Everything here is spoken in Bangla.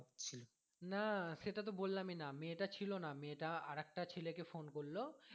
না সেটা তো বললাম ই না মেয়েটা ছিলো না মেয়েটা আরেকটা ছেলে কে phone করলো